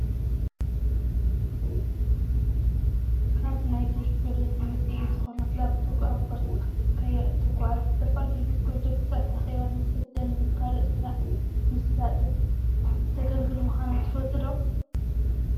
ካብ ናይ ቴክኖሎጂ ውፂኢት ዝኮነት ላብ ቶፕ ኣብ ቦርሳካ ሒዝካያ እትጎዓዝ ንዝተፈላለዩ ፕሮጀክትታትን ኣኬባን መሰልጠኒን ንካልእ ስራሕ ምስላጥን እተገልግል ምኳና ትፈልጡ ዶ ?